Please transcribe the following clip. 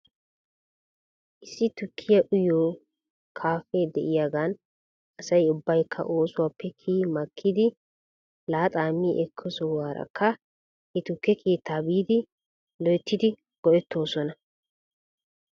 Issi tukkiyaa uyiyoo kaafee diyaagan asay ubbaykka oosuwaappe kiyi makkidi laaxaa mi ekko sohuwaarakka he tukke keettaa biidi loyttidi go'etoosona.